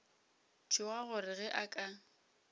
tšhoga gore ge a ka